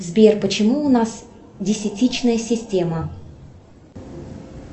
сбер почему у нас десятичная система